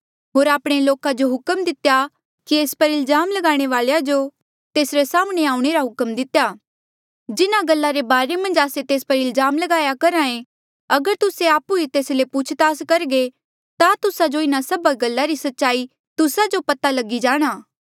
होर आपणे लोका जो हुक्म दितेया कि एस पर इल्जाम लगाणे वालेया जो तेरे साम्हणें आऊणें रा हुक्म दितेया जिन्हा गल्ला रे बारे मन्झ आस्से तेस पर इल्जाम ल्गाया करहा ऐें अगर तुस्से आपु ई तेस ले पूछ ताछ करघे ता तुस्सा जो इन्हा सभ गल्ला री सच्चाई तुस्सा जो पता लगी जाणा